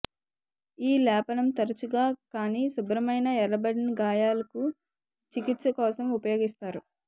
ఈ లేపనం తరచుగా కాని శుభ్రమైన ఎర్రబడిన గాయాలకు చికిత్స కోసం ఉపయోగిస్తారు